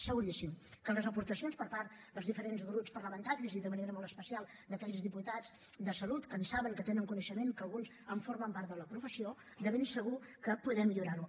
seguríssim que les aportacions per part dels diferents grups parlamentaris i de manera molt especial d’aquells diputats de salut que en saben que tenen coneixement que alguns formen part de la professió de ben segur que podem millorar ho